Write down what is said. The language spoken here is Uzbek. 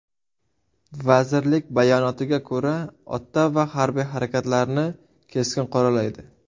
Vazirlik bayonotiga ko‘ra, Ottava harbiy harakatlarni keskin qoralaydi.